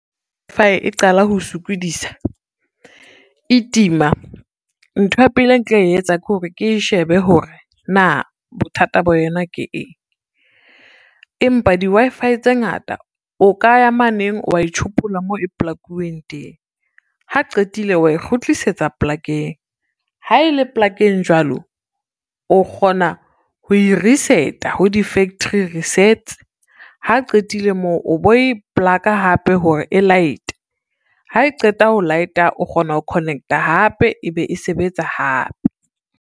Wi-Fi e qala ho sokodisa, e tima ntho ya pele e nka e etsa ke hore ke shebe hore, na bothata bo yona ke eng. Empa di-Wi-Fi tse ngata o ka ya ma neng wa e tjhopolla moo e polakuweng teng, ha qetile wa e kgutlisetsa polakeng ha ele polakeng jwalo o kgona ho e reset-a ho di-factory resets, ha qetile moo o bo ko e polaka hape hore e light-e, ha e qeta ho light-a o kgona ho connect-a hape ebe e sebetsa hape.